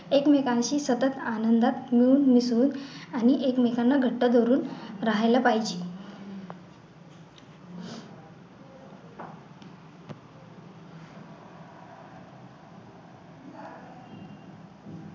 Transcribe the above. एकमेकांशी सतत आनंदात मिळून मिसळून आणि एकमेकांना घट्ट धरून राहायला पाहिजे